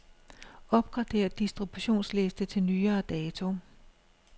Opgrader distributionsliste til nyere dato.